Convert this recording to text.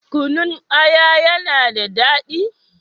Kunun aya ya na da daɗi?